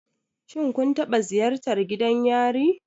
Shin kun taɓa ziyartar gidan yari?